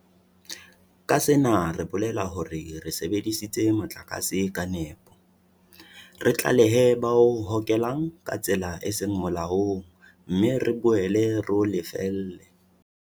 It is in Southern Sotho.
Ka sena re bolela hore re sebedise motlakase ka nepo, re tlalehe ba o hokelang ka tsela e seng molaong mme re boele re o lefelle.